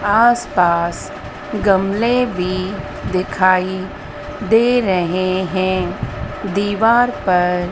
आसपास गमले भी दिखाई दे रहे है दीवार पर--